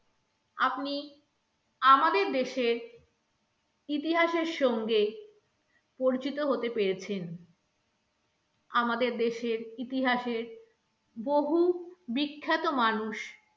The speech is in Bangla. আপনি আমাদের দেশের ইতিহাসের সঙ্গে পরিচিত হতে পেরেছেন আমাদের দেশের ইতিহাসে বহু বিখ্যাত মানুষ